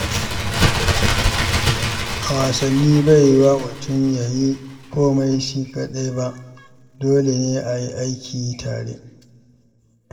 A wasanni, bai yiyuwa mutum ya yi komai shi kaɗai ba, dole ne a yi aiki tare.